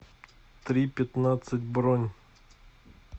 три пятнадцать бронь